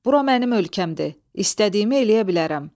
Bura mənim ölkəmdir, istədiyimi eləyə bilərəm.